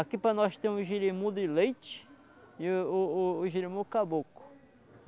Aqui para nós tem um jirimu de leite e o o o o jirimu caboclo.